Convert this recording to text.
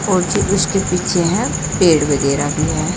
उसके पीछे है पेड़ वगैरह भी है।